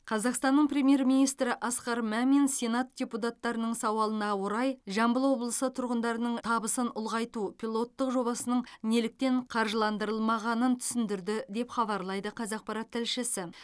қазақстанның премьер министрі асқар мамин сенат депутаттарының сауалына орай жамбыл облысы тұрғындарының табысын ұлғайту пилоттық жобасының неліктен қаржыландырылмағанын түсіндірді деп хабарлайды қазақпарат тілшісі